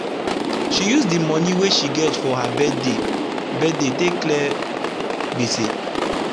she use d small moni wey she gets for her birthday birthday take clear gbese